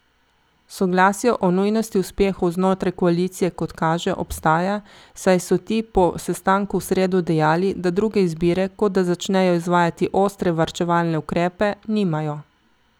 Soglasje o nujnosti uspehov znotraj koalicije, kot kaže, obstaja, saj so ti po sestanku v sredo dejali, da druge izbire, kot da začnejo izvajati ostre varčevalne ukrepe, nimajo.